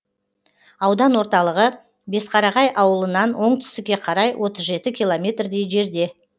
аудан орталығы бесқарағай ауылынан оңтүстікке қарай отыз жеті километрдей жерде